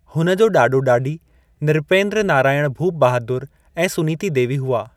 हुन जो ॾाॾो-ॾाॾी नृपेंद्र नारायण भूप बहादुर ऐं सुनीति देवी हुआ।